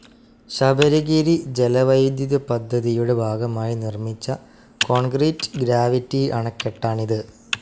ശബരിഗിരി ജലവൈദ്യുതപദ്ധതിയുടെ ഭാഗമായി നിർമ്മിച്ച കോൺക്രീറ്റ്‌ ഗ്രാവിറ്റി അണക്കെട്ടാണിത്.